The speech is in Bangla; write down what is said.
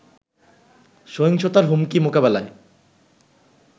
সহিংসতার হুমকি মোকাবেলায়